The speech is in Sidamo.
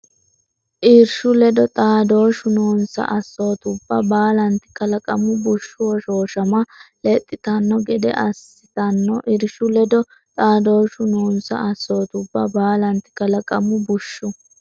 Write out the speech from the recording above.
Irshu ledo xaadooshshu noonsa assootubba baalanti kalaqamu bushshu hoshooshama lexxitanno gede assitanno Irshu ledo xaadooshshu noonsa assootubba baalanti kalaqamu bushshu.